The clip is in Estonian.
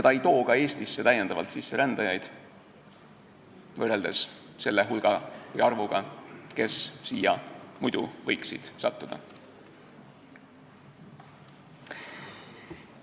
Ta ei too Eestisse rändajaid täiendavalt sisse, võrreldes sellega, kui palju inimesi siia muidu võiks sattuda.